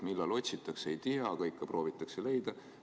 Millal otsitakse, ei tea, aga ikka proovitakse leida.